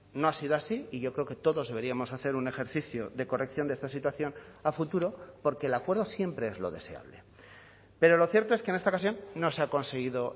no ha sido así y yo creo que todos deberíamos hacer un ejercicio de corrección de esta situación a futuro porque el acuerdo siempre es lo deseable pero lo cierto es que en esta ocasión no se ha conseguido